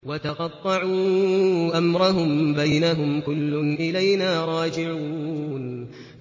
وَتَقَطَّعُوا أَمْرَهُم بَيْنَهُمْ ۖ كُلٌّ إِلَيْنَا رَاجِعُونَ